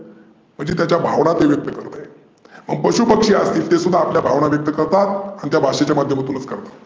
म्हणजे तो त्याच्या भावना व्यक्त करतोय. मग पशु पक्षी असतील ते सुध्दा आपल्या भावना व्यक्त करतात. आणि ते भाषेच्या माध्यमातूनचं करतात.